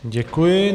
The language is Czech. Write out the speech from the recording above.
Děkuji.